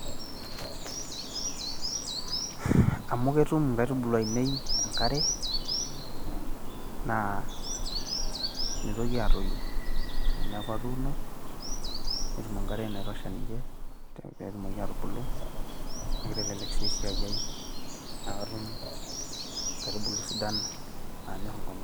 amu ketum inkaitubulu ainei enkare, naa mitoki aatoyu. teneeku atuuno, netum enkare naitosha ninche, pee etumoki aatubulu, naa kitelelk sii esiai ai.naa katum inkaitubulu sidan, naanyor inkonyek.